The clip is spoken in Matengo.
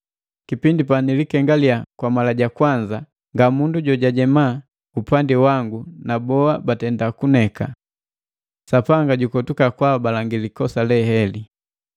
Kipindi panalikengaliya kwa mala ja kwanza nga mundu jojwajema upandi wangu na boa batenda kuneka. Sapanga jukotuka kwaabalangi likosa le heli!